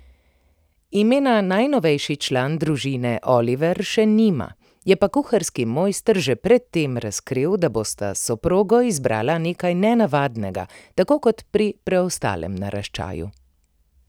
Imena najnovejši član družine Oliver še nima, je pa kuharski mojster že pred tem razkril, da bosta s soprogo izbrala nekaj nenavadnega, tako kot pri preostalem naraščaju.